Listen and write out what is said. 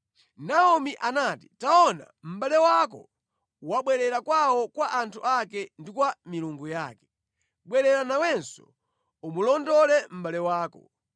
Naomi anati “Taona, mʼbale wako wabwerera kwawo kwa anthu ake ndi kwa milungu yake. Bwerera nawenso umulondole mʼbale wako.”